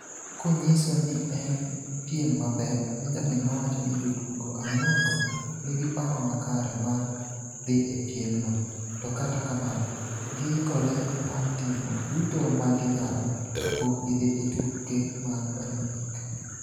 Konyiso ni en piem mapek, Benjamin nowacho ni jotugo ang'wen-go nigi paro makare mar dhi e piemno, to kata kamano, giikore mar timo duto ma ginyalo ka pok gidhi e tuke mag Olimpik.